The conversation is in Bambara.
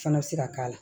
Fana bɛ se ka k'a la